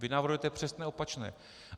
Vy navrhujete přesně opačné.